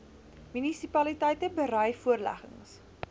munisipaliteite berei voorleggings